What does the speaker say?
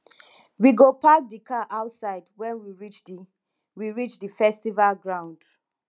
we go park di car outside wen we reach di we reach di festival ground